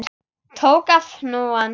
Tók af hnúann.